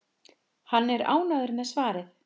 Hann er ánægður með svarið.